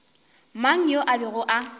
mang yo a bego a